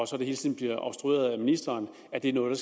så hele tiden bliver obstrueret af ministeren er noget